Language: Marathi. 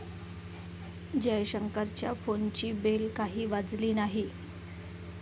जयशंकरांच्या फोनची बेल काही वाजली नाही.